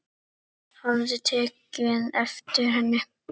Hafði tekið eftir henni.